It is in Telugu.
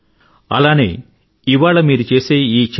ఎలాగో ఆయనకూ తెలిసి ఉండదు కానీ భారతదేశానికి స్వాతంత్రం వచ్చింది